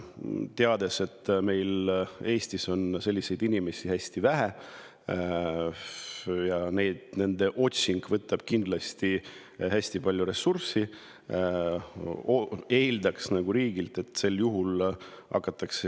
Teades, et meil on Eestis selliseid inimesi hästi vähe ja nende otsing kindlasti hästi palju ressursse, eeldaks riigilt, et omavalitsusi sel juhul kuidagi aidataks.